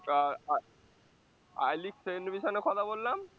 I league send mission এ কথা বললাম